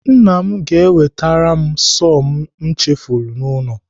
Nna m ga-ewetere m sọọ m chefuru n'ụlọ.